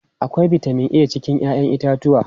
Akwai bitamin a cikin 'ya'yan itatuwa.